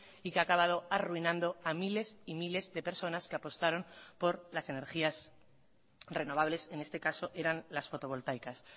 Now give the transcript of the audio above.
y que ha acabado arruinando a miles y miles de personas que apostaron por las energías renovables en este caso eran las fotovoltaicas